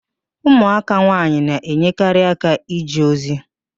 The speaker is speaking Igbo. Ụmụaka nwaanyị na-enyekarị aka n'ije ozi